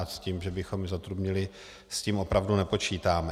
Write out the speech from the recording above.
A s tím, že bychom ji zatrubnili, s tím opravdu nepočítáme.